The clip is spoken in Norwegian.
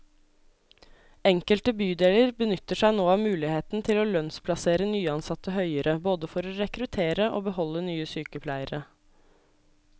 Enkelte bydeler benytter seg nå av muligheten til å lønnsplassere nyansatte høyere, både for å rekruttere og beholde nye sykepleiere.